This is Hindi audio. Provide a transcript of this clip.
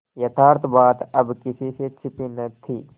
यथार्थ बात अब किसी से छिपी न थी